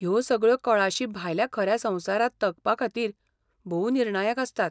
ह्यो सगळ्यो कळाशी भायल्या खऱ्या संवसारांत तगपाखातीर भोव निर्णायक आसतात.